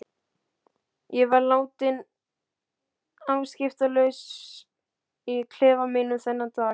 Ég var látin afskiptalaus í klefa mínum þennan dag.